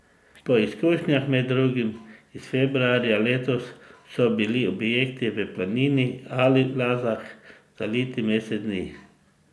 Po izkušnjah, med drugim iz februarja letos, so bili objekti v Planini ali Lazah zaliti mesec dni.